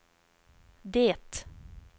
det